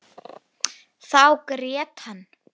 Þá grét hann.